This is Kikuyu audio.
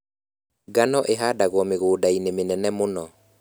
Ngano ĩhandagwo mĩgũnda-inĩ mĩnene mũno